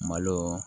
Malo